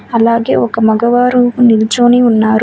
అలాగే ఒక మగవారు నిల్చోని ఉన్నారు.